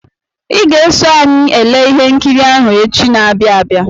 Ị ga-eso anyị ele ihe nkiri ahụ echi na-abịa abịa.